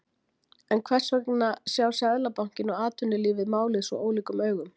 En hvers vegna sjá Seðlabankinn og atvinnulífið málið svo ólíkum augum?